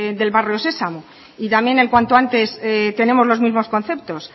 del barrio sesamo y también en cuanto antes tenemos los mismos conceptos